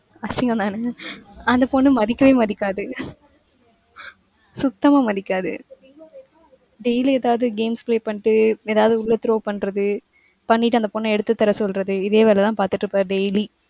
அசிங்கந்தானே? அந்த பொண்ணு மதிக்கவே மதிக்காது. சுத்தமா மதிக்காது. daily ஏதாவது games play பண்ணிட்டு ஏதாவது உள்ள throw பண்றது பண்ணிட்டு அந்த பொண்ண எடுத்து தர சொல்றது இதே வேலைதான் பாத்துட்டு இருப்பாரு daily.